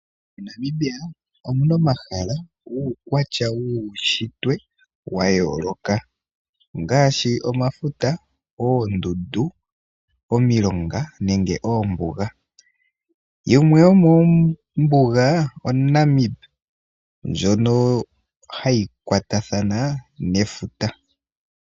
MoNamibia omu na omahala guukwatya wuushitwe wuukwatya wa yooloka, ongaashi omafuta, oondundu, omilonga, nosho wo oombuga. Yimwe yomoombuga oNamib, ndjono ha yi kwatathana nefuta.